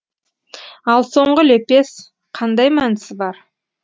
ал соңғы лепес қандай мәнісі бар